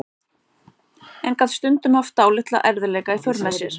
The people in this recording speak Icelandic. En gat stundum haft dálitla erfiðleika í för með sér.